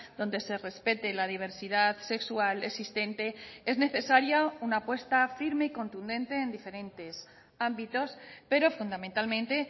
donde se respete la diversidad sexual existente es necesaria una apuesta firme y contundente en diferentes ámbitos pero fundamentalmente